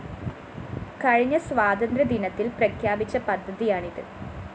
കഴിഞ്ഞ സ്വാതന്ത്ര്യദിനത്തില്‍ പ്രഖ്യാപിച്ച പദ്ധതിയാണിത്